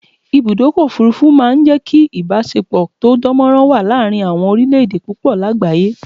Ibùdọ́kọ̀ òfurufú ma n jẹ́ kí ìbáṣepọ̀ tó dánmọ́rán wà láàrin àwọn orílẹ̀ èdè púpọ̀ lágbàyé